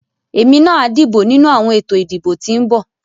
Èmi náà a dìbò nínú àwọn ètò ìdìbò tí ń bọ̀.